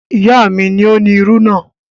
Ìyá mi ni ó ni irú náà.